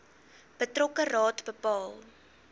betrokke raad bepaal